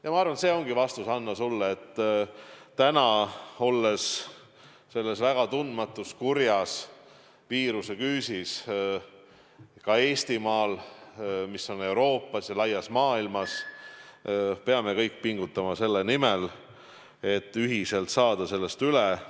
Ja ma arvan, et see ongi vastus, Hanno, sulle, et täna, olles ka Eestimaal selle väga tundmatu kurja viiruse küüsis, mis on levinud kogu Euroopas ja laias maailmas, peame kõik pingutama selle nimel, et ühiselt sellest üle saada.